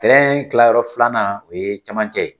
kilayɔrɔ filanan o ye camancɛ ye